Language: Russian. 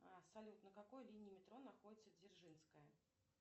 салют на какой линии метро находится дзержинская